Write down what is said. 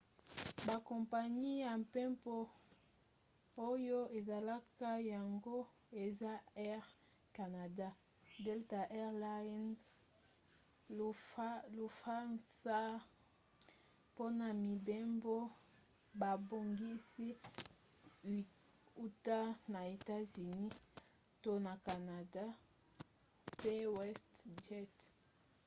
bakompani ya mpepo oyo esalaka yango eza air canada delta air lines lufthansa mpona mibembo babongisi uta na etats-unis to na canana mpe westjet